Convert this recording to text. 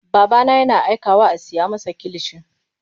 Babana yana aikawa a siya masa kilishi.